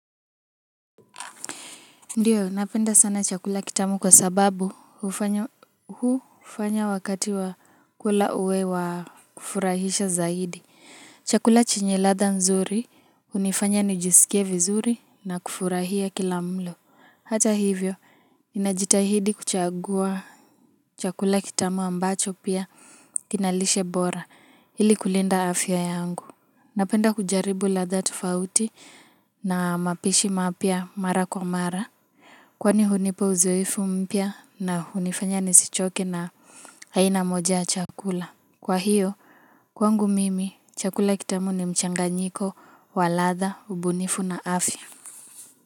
Ndiyo napenda sana chakula kitamu kwa sababu hufanya wakati wa kula uwe wa kufurahisha zaidi Chakula chenye ladha nzuri hunifanya nijisikie vizuri na kufurahia kila mlo Hata hivyo ninajitahidi kuchagua chakula kitamu ambacho pia kina lishe bora ili kulinda afya yangu Napenda kujaribu ladha tofauti na mapishi mapya mara kwa mara Kwani hunipa uzoefu mpya na hunifanya nisichoke na aina moja chakula Kwa hiyo kwangu mimi chakula kitamu ni mchanganyiko wa ladha ubunifu na afya.